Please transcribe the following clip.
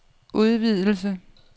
udvidelse